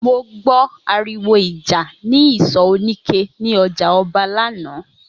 Mo gbó̩ àrìwò ìjà ní ìsò̩ oníke ní o̩jà O̩ba lánàá